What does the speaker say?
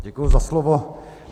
Děkuji za slovo.